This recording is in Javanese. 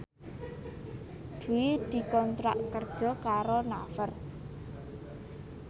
Dwi dikontrak kerja karo Naver